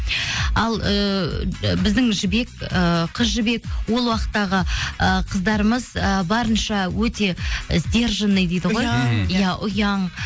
ал ыыы біздің ы қыз жібек ол уақыттағы ы қыздарымыз ы барынша өте сдержанный дейді ғой ұяң иә ұяң